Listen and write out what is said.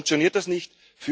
So funktioniert das nicht.